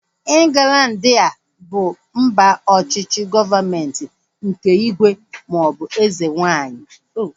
Ịnglandi a bụ mba ọchịchị gọọmenti nke ígwè maọbụ eze nwaanyị?